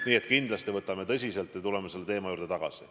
Nii et kindlasti me võtame seda teemat tõsiselt ja tuleme selle juurde tagasi.